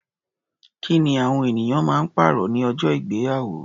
Kí ni awọn eniyan ma ń pàrọ̀ ní ọjọ́ ìgbéyàwó?